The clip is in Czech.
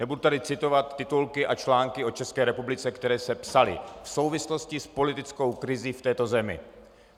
Nebudu tady citovat titulky a články o České republice, které se psaly v souvislosti s politickou krizí v této zemi.